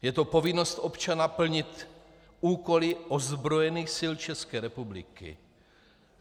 Je to povinnost občana plnit úkoly ozbrojených sil České republiky.